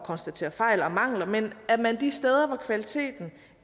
konstatere fejl og mangler men at man de steder hvor kvaliteten